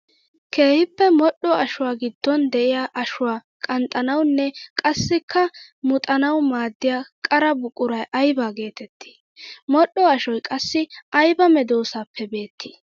Keehippe modhdho ashuwa giddon de'iya ashuwa qanxxanawunne qassikka muxxanawu maaddiya qara buquray aybba geetetti? Modhdho ashoy qassi aybba medosappe beetti?